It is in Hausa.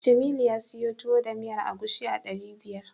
Jamilu ya siyo Tuwo da miyar agushi a ɗari biyar.